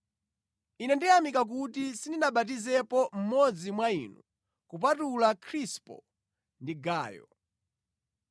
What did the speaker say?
Ine ndikuyamika kuti sindinabatizepo mmodzi mwa inu kupatula Krispo ndi Gayo,